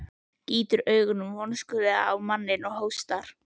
Gýtur augunum vonskulega á manninn og hóstar.